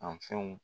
A fɛnw